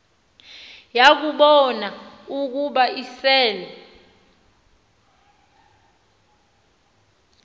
yakubon ukuba isel